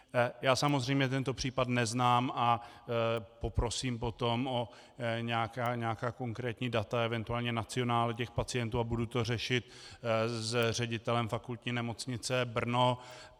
Já samozřejmě tento případ neznám a poprosím potom o nějaká konkrétní data, eventuálně nacionále těch pacientů, a budu to řešit s ředitelem Fakultní nemocnice Brno.